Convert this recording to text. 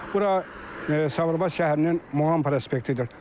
Bura Sabirabad şəhərinin Muğan prospektidir.